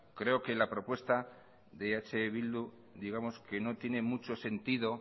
creo que la propuesta de eh bildu digamos que no tiene mucho sentido